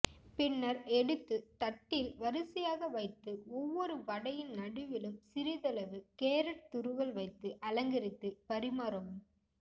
பின்னர் எடுத்து தட்டில் வரிசையாக வைத்து ஒவ்வொரு வடையின் நடுவிலும் சிறிதளவு கேரட் துருவல் வைத்து அலங்கரித்து பரிமாறவும்